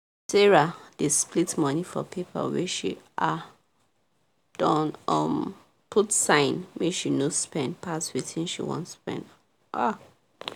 sarah dey split money for paper wey she um don um put sign make she no spend pass wetin she wan spend um